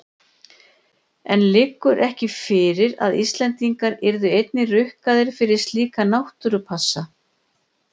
En liggur ekki fyrir að Íslendingar yrðu einnig rukkaðir fyrir slíka náttúrupassa?